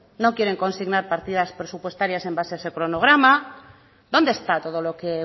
no quieren consignar partidas presupuestarias en base a ese cronograma dónde está todo lo que